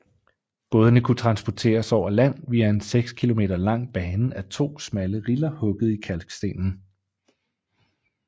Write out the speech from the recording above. Bådene kunne transporteres over land via en seks km lang bane af to smalle riller hugget i kalkstenen